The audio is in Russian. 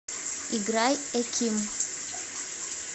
играй э ким